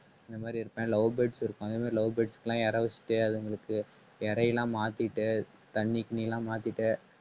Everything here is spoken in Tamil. இந்த மாதிரி இருப்பேன் love birds இருக்கும் அதே மாதிரி love birds க்கு எல்லாம் இரை வச்சிட்டு அதுங்களுக்கு இரையெல்லாம் மாத்திட்டு தண்ணி கிண்ணி எல்லாம் மாத்திட்டு